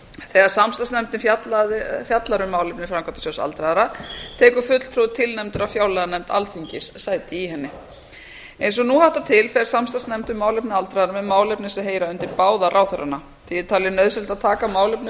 þegar samstarfsnefndin fjallar um málefni framkvæmdasjóðs aldraðra tekur fulltrúi tilnefndur af fjárlaganefnd alþingis sæti í henni eins og nú háttar til fer samstarfsnefnd um málefni aldraðra með málefni sem heyra undir báða ráðherrana því er talið nauðsynlegt að taka málefni